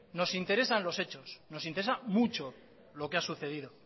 nos interesan los hechos nos interesa mucho lo que ha sucedido